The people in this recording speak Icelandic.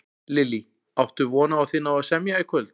Lillý: Áttu von á að þið náið að semja í kvöld?